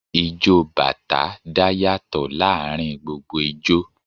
Ijó bàtá dá yàtọ̀ láàárín gbogbo ijó